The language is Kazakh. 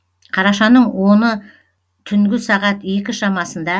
қарашаның оны түнгі сағат екі шамасында